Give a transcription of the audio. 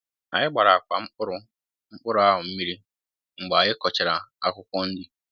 anyị gbàrà ákwà mkpụrụ mkpụrụ ahụ mmiri mgbe anyị kọchara akwụkwọ nri